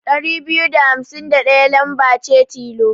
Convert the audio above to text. Ɗari biyu da hamsin da ɗaya lamba ce tilo.